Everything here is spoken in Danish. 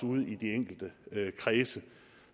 ude i de enkelte politikredse